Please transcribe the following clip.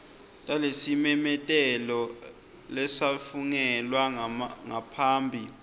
talesimemetelo lesafungelwa ngaphambi